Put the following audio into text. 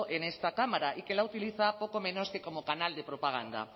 en esta cámara y que la utiliza poco menos que como canal de propaganda